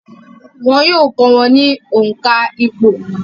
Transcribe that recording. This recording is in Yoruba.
Wọn yóò kọ́ wọn ní òǹkà ìpò